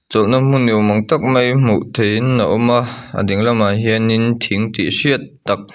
chawlhna hmun ni awm ang tak mai hmuh theihin a awm a a dinglam ah hianin thing tih hriat tak--